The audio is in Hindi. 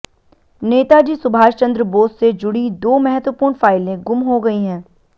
नेताजी सुभाष चंद्र बोस से जुड़ीं दो महत्वपूर्ण फाइलें गुम हो गई हैं